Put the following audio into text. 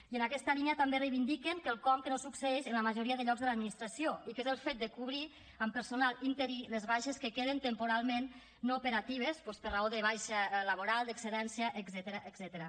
i en aquesta línia també reivindiquen quelcom que no succeeix en la majoria de llocs de l’administració i que és el fet de cobrir amb personal interí les baixes que queden temporalment no operatives doncs per raó de baixa laboral d’excedència etcètera